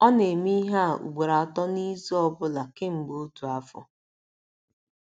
Ọ na - eme ihe a ugboro atọ n’izu ọ bụla kemgbe otu afọ.